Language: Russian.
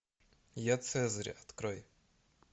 я цезарь открой